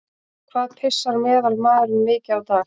Hvað pissar meðalmaðurinn mikið á dag?